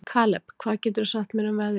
Kaleb, hvað geturðu sagt mér um veðrið?